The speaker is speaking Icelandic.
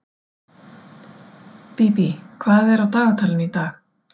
Bíbí, hvað er á dagatalinu í dag?